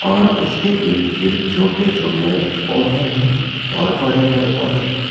और उसके ईर्द गिर्द छोटे छोटे पौधे हैं और बड़े बड़े पौधे भी हैं।